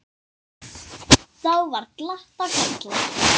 Þá var glatt á hjalla.